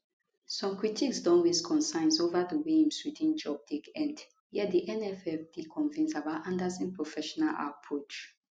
some critics don raise concerns ova di way im sweden job take end yet di nff dey convinced about andersson professional approach